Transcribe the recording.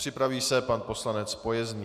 Připraví se pan poslanec Pojezný.